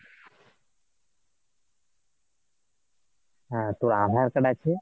হ্যাঁ তোর আধার card আছে ?